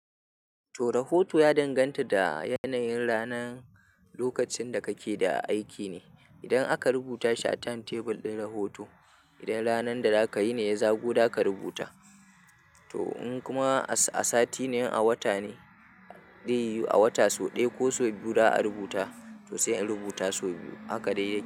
To rahoto ya danganta da yanayin ranar, lokacin da kake da aiki ne. Idan aka rubuta shi a timetable ɗin rahoto, idan ranan da za ka yi ne ya zago za ka rubuta. To in kuma a sati ne, in a wata ne, za yiwu a wata sau ɗaya ko sau biyu za a rubuta, to sai in rubuta sau biyu. Haka dai yake.